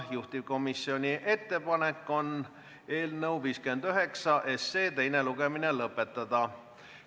Juhtivkomisjoni ettepanek on eelnõu 59 teine lugemine lõpetada.